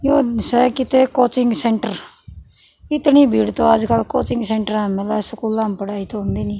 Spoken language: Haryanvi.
यो स कित्ते कोचिंग सेंटर इतणी भीड़ तो आजकल कोचिंग सेंटरा म ए मिल्ले स स्कूलां म पढ़ाई तो होंदी नी।